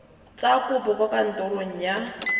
tsa kopo kwa kantorong ya